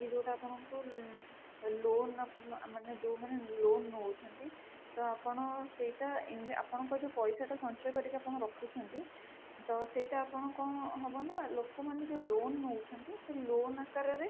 କି ଯୋଉଟା ଆପଣଙ୍କୁ loan ମାନେ ଯୋଉମାନେ loan ନଉଛନ୍ତି ତ ଆପଣ ସେଇଟା ଆପଣଙ୍କର ଯୋଉ ପଇସା ଟା ଆପଣ ସଞ୍ଚୟ କରିକି ରଖୁଛନ୍ତି ତ ସେଇଟା ଆପଣଙ୍କର କଣ ହବ ନା ଲୋକ ମାନେ ଯୋଉ loan ନଉଛନ୍ତି loan ଆକାର ରେ